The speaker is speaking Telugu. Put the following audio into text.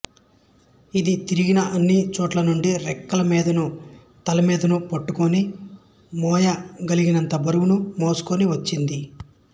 ఇది తిరిగిన అన్ని చోట్లనుండి రెక్కలమీదను తలమీదను పెట్టుకొని మోయ గలిగినంత బరువును మోసికొని వచ్చింది